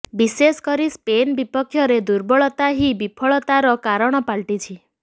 ବିଶେଷକରି ସ୍ପିନ୍ ବିପକ୍ଷରେ ଦୁର୍ବଳତା ହିଁ ବିଫଳତାର କାରଣ ପାଲଇଟିଛି